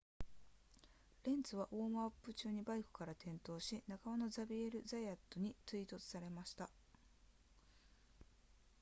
レンツはウォームアップ中にバイクから転落し仲間のザビエルザヤットに追突された